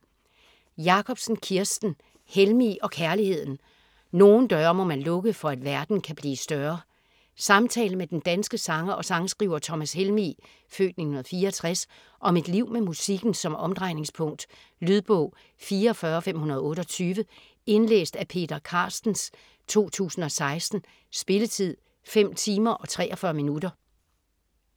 Jacobsen, Kirsten: Helmig og kærligheden: nogle døre må man lukke for at verden kan blive større Samtale med den danske sanger og sangskriver Thomas Helmig (f. 1964) om et liv med musikken som omdrejningspunkt. Lydbog 44528 Indlæst af Peter Carstens, 2016. Spilletid: 5 timer, 43 minutter.